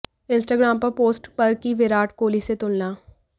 Instagram पर post पर की विराट कोहली से तुलना